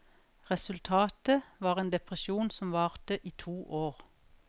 Resultatet var en depresjon som varte i to år.